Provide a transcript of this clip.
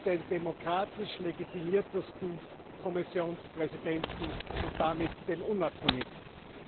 Wir haben den demokratisch legitimiertesten Kommissionspräsidenten und damit den unabhängigsten.